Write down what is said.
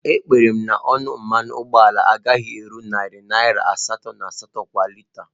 Ekpere m na ọnụ mmanụ ụgbọala agaghị abụ narị naira asatọ na asatọ kwa lita